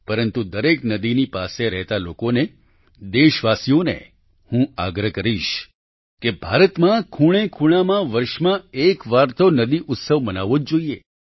પરંતુ દરેક નદીની પાસે રહેતા લોકોને દેશવાસીઓને હું આગ્રહ કરીશ કે ભારતમાં ખૂણેખૂણામાં વર્ષમાં એકવાર તો નદી ઉત્સવ મનાવવો જ જોઈએ